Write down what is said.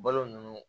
Balo nunnu